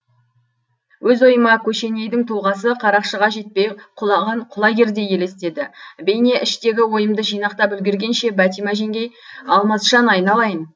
өз ойыма көшенейдің тұлғасы қарақшыға жетпей құлаған құлагердей елестеді бейне іштегі ойымды жинақтап үлгергенше бәтима жеңгей алмасжан айналайын